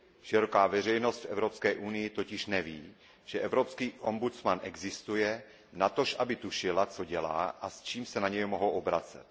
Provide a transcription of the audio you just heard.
Široká veřejnost v Evropské unii totiž neví, že evropský ombudsman existuje, natož aby tušila, co dělá a s čím se na něj mohou obracet.